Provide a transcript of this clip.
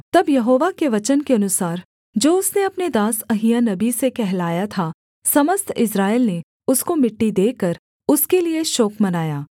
तब यहोवा के वचन के अनुसार जो उसने अपने दास अहिय्याह नबी से कहलाया था समस्त इस्राएल ने उसको मिट्टी देकर उसके लिये शोक मनाया